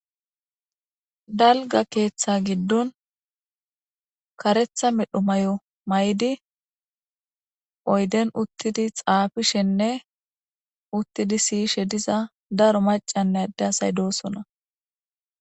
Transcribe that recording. Dalga keeththa giddon karetha medho may7o may7di oyden uttidi xaafishenne uttidi siyishe diza daro maca nayde asay doosona.